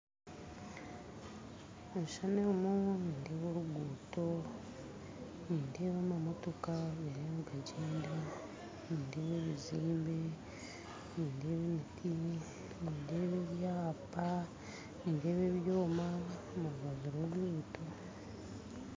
Omukishushani omu nindeeba amamotoka gariyo nigagyenda nindeeba oruguuto nindeeba ebiziimbe nindeeba ebiti nindeeba ebyapa nindeeba ebyoma biri omurubaju rworuguuto